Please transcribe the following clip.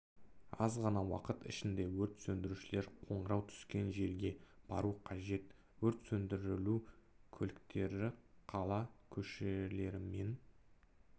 аз ғана уақыт ішінде өрт сөндірушілер қоңырау түскен жерге бару қажет өрт сөндіру көліктері қала көшелерімен